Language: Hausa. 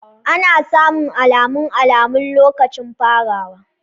Ana samun alamun alamun lokacin farawa.